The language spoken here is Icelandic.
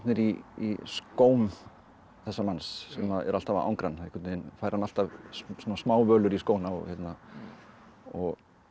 í í skóm þessa manns sem eru alltaf að angra hann einhvern veginn fær hann alltaf í skóna og og